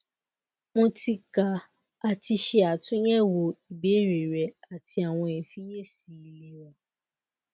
mo ti ka ati ṣe atunyẹwo ibeere rẹ ati awọn ifiyesi ilera